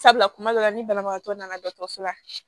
Sabula kuma dɔ la ni banabagatɔ nana dɔgɔtɔrɔso la